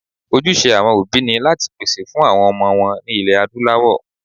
Ojúṣe àwọn òbí ni láti pèsè fún àwọn ọmọ wọn ní ilẹ̀ Adúláwọ̀